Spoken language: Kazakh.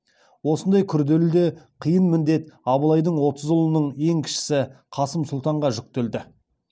осындай күрделі де қиын міндет абылайдың отыз ұлының ең кішісі қасым сұлтанға жүктелді